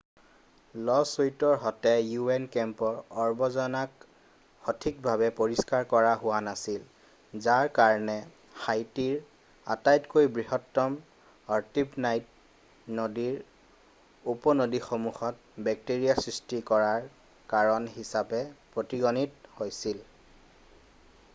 ল'ছুইটৰ মতে un কেম্পৰ আৱৰ্জনাক সঠিকভাৱে পৰিষ্কাৰ কৰা হোৱা নাছিল যাৰ কাৰণে হাইটিৰ আটাইতকৈ বৃহত্তম আৰ্টিব'নাইট নদীৰ উপনদীসমূহত বেক্টেৰীয়া সৃষ্টি কৰাৰ কাৰণ হিচাপে পৰিগণিত হৈছিল৷